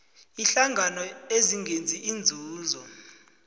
iinhlangano ezingenzi inzuzo